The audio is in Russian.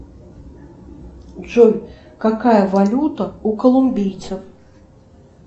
джой какая валюта у колумбийцев